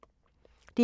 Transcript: DR2